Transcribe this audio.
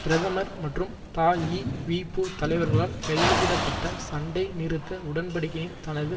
பிரதமர் மற்றும் தஈவிபு தலைவர்களால் கையெழுத்திட பட்ட சண்டை நிறுத்த உடன்படிக்கையின் தனது